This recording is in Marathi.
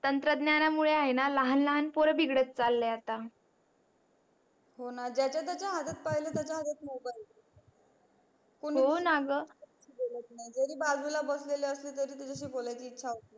तंत्रज्ञाना मुळे आहेणा लहान लहान पोर बिगडत चाले आता हो णा ज्याच्या ज्याच्या हातात पाहिल त्याच्या हातात mobile दिसत कोणी बोलत नाही होणा ग जरी बाजूला बसले असले तरी त्याच्याशी बोलायची इच्छा होत नाही.